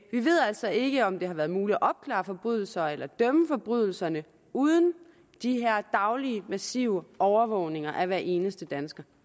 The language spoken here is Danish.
vi ved altså ikke om det har været muligt at opklare forbrydelser eller dømme for forbrydelserne uden de her daglige massive overvågninger af hver eneste dansker